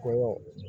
Ko